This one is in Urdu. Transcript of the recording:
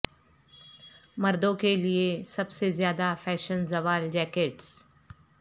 مردوں کے لئے سب سے زیادہ فیشن زوال جیکٹس